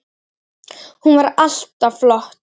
Hún var alltaf flott.